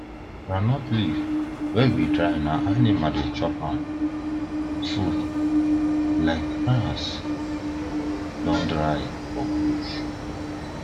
groundnut leave wa we dry na animals the chop wan food like grass don dry for bush